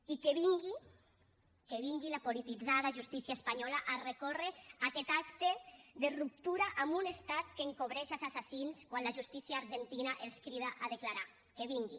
i que vingui la polititzada justícia espanyola a recórrer contra aquest acte de ruptura en un estat que encobreix els assassins quan la justícia argentina els crida a declarar que vingui